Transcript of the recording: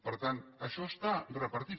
per tant això està repartit